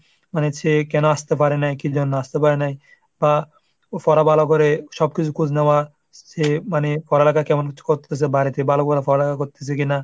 মানে সে কেন আসতে পারে নাই, কি জন্য আসতে পারে নাই, বা পড়া ভালো করে সব কিছু খোজ নেওয়া, সে মানে পড়ালেখা কেমন করে করতাসে বাড়িতে, ভালো করে পড়ালেখা করতাসে কিনা?